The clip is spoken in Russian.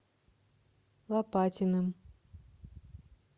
лопатиным